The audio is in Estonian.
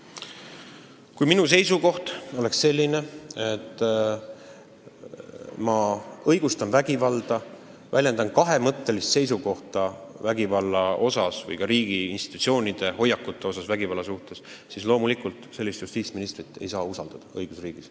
Kui minu seisukoht oleks selline, et ma õigustan vägivalda, kui ma väljendaksin kahemõttelist seisukohta vägivalla suhtes või selle suhtes, millised on riigi institutsioonide hoiakud selles asjas, siis loomulikult ei saaks sellist justiitsministrit õigusriigis usaldada.